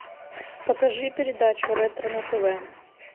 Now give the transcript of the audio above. покажи передачу ретро на тв